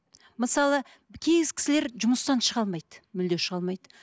мысалы кісілер жұмыстан шыға алмайды мүлде шыға алмайды